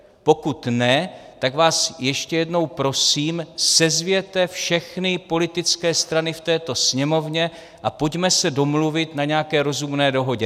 Pokud ne, tak vás ještě jednou prosím, sezvěte všechny politické strany v této Sněmovně a pojďme se domluvit na nějaké rozumné dohodě.